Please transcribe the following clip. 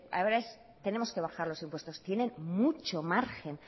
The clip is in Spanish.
ahora tenemos que bajar los impuestos tienen mucho margen